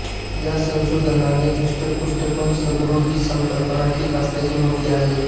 या संशोधनाने धष्टपुष्ट पण सदृढ ही संकल्पना ठीक असल्याचे म्हटले आहे